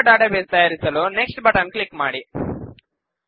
ಹೊಸ ಡಾಟಾಬೇಸ್ ತಯಾರಿಸಲು next button click ಮಾಡಿ